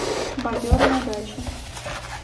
бобер на даче